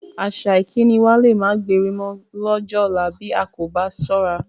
Àṣà ìkíni wa lé máa gbéri mọ lọ́jọ́ ọ̀la bí a kò bá ṣọ́ra